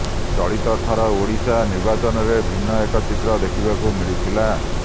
ଚଳିତଥର ଓଡିଶା ନିର୍ବାଚନରେ ଭିନ୍ନ ଏକ ଚିତ୍ର ଦେଖିବାକୁ ମିଳିଥିଲା